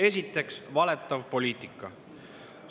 Esiteks, valetav poliitika.